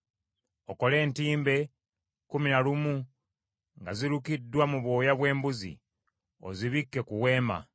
“Okole entimbe kkumi na lumu nga zilukiddwa mu bwoya bw’embuzi, ozibikke ku Weema.